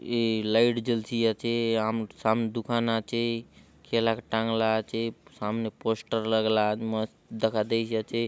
ए light जलसी आछे आम र सामने दुकान आछे केला के टांगला आछे सामने पोस्टर लगला आछे मस्त दखा देयसि आचे।